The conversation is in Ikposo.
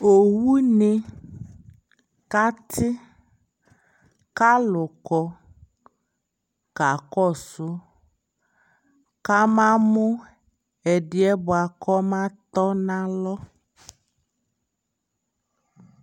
ɔwʋ ni kati kʋ alʋ kɔ kakɔsʋ ka ama mʋ ɛdiɛ bʋakʋ ɔba tɔnʋ alɔ